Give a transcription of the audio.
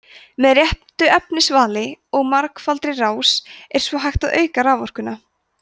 með réttu efnisvali og margfaldri rás er svo hægt að auka raforkuna